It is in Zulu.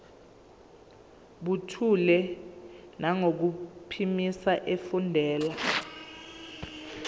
buthule nangokuphimisa efundela